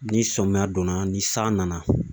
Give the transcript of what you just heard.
Ni sɔmiya donna , ni san nana .